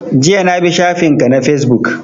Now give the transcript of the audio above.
Jiya na bi shafin ka na Fesbook